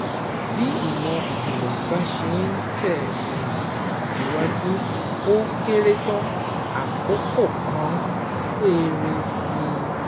Bí ìmọ̀ ìjìnlẹ̀ bá ṣe ń tẹ̀ um síwájú, ó kéré tán, àkókò kan péré ni